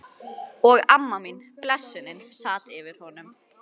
Og amma mín, blessunin, sat yfir honum.